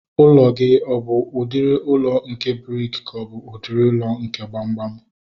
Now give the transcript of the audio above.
Ụlọ gị ọ bụ udiri ụlọ nke briki ka ọ bụ udiri ụlọ nke gbamgbam?